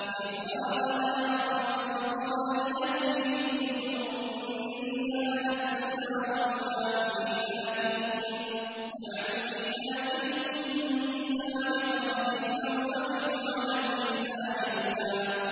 إِذْ رَأَىٰ نَارًا فَقَالَ لِأَهْلِهِ امْكُثُوا إِنِّي آنَسْتُ نَارًا لَّعَلِّي آتِيكُم مِّنْهَا بِقَبَسٍ أَوْ أَجِدُ عَلَى النَّارِ هُدًى